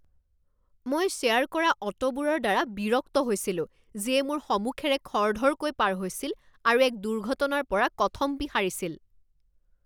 মই শ্বেয়াৰ কৰা অটোবোৰৰ দ্বাৰা বিৰক্ত হৈছিলো যিয়ে মোৰ সমুখেৰে খৰধৰকৈ পাৰ হৈছিল আৰু এক দুৰ্ঘটনাৰ পৰা কথমপি সাৰিছিল।